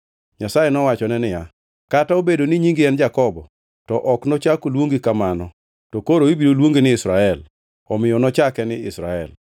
Nyasaye nowachone niya, “Kata obedo ni nyingi en Jakobo to ok nochak oluongi kamano to koro ibiro luongi ni Israel.” Omiyo nochake ni Israel.